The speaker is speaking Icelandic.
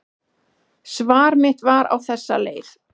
Svar mitt var á þessa leið: